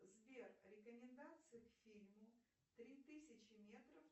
сбер рекомендации к фильму три тысячи метров